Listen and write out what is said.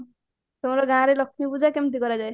ତମର ଗାଁରେ ଲକ୍ଷ୍ମୀ ପୂଜା କେମତି କରାଯାଏ